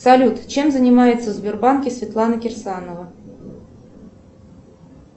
салют чем занимается в сбербанке светлана кирсанова